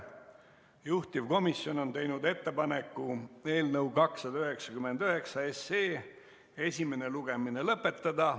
Juhtivkomisjon on teinud ettepaneku eelnõu 299 esimene lugemine lõpetada.